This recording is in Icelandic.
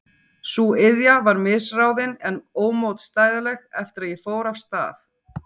Sú iðja var misráðin en ómótstæðileg eftir að ég fór af stað.